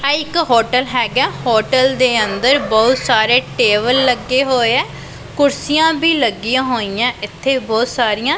ਐ ਇੱਕ ਹੋਟਲ ਹੈਗਾ ਹੋਟਲ ਦੇ ਅੰਦਰ ਬਹੁਤ ਸਾਰੇ ਟੇਬਲ ਲੱਗੇ ਹੋਏ ਆ ਕੁਰਸੀਆਂ ਵੀ ਲੱਗੀਆਂ ਹੋਈਆਂ ਇੱਥੇ ਬਹੁਤ ਸਾਰੀਆਂ।